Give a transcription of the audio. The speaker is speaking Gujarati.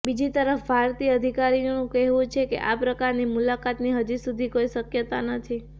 બીજી તરફ ભારતીય અધિકારીનું કહેવું છે કે આ પ્રકારની મુલાકાતની હજી સુધી કોઇ શક્યતા નથી